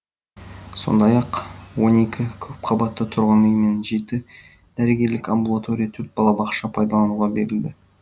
сондай ақ он екі көпқабатты тұрғын үй мен жеті дәрігерлік амбулатория төрт балабақша пайдалануға берілді